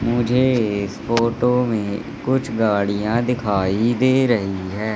मुझे इस फोटो में कुछ गाड़ियां दिखाई दे रही है।